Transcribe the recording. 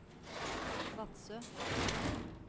Vadsø